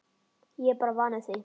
Ég er bara vanur því